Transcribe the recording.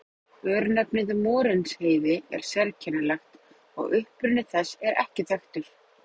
Örnefnið Morinsheiði er sérkennilegt og uppruni þess er ekki þekktur.